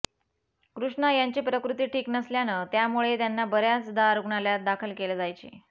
कृष्णा यांची प्रकृती ठिक नसल्यानं त्यामुळे त्यांना बऱ्याचंदा रूग्णालयात दाखल केलं जायचे